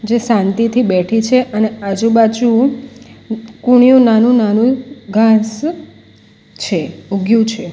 જે શાંતિથી બેઠી છે અને આજુ-બાજુ કોણીયુ નાનું-નાનું ઘાસ છે ઉગ્યું છે.